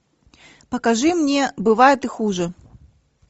покажи мне бывает и хуже